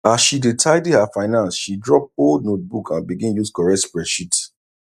as she dey tidy her finance she drop old notebook and begin use correct spreadsheet